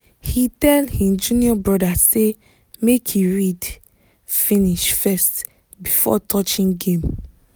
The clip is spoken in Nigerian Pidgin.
he tell him junior brother say make he read finish first before touching game